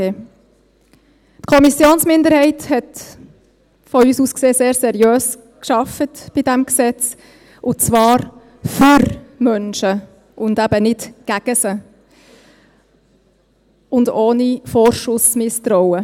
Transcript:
Die Kommissionsminderheit hat unserer Ansicht nach bei diesem Gesetz sehr seriös gearbeitet, und zwar für Menschen, und eben nicht gegen sie, und ohne ständiges Vorschussmisstrauen.